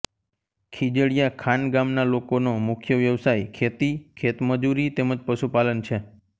ખીજડીયા ખાન ગામના લોકોનો મુખ્ય વ્યવસાય ખેતી ખેતમજૂરી તેમ જ પશુપાલન છે